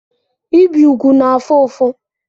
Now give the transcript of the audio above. Ibi úgwù na-afụ ụfụ.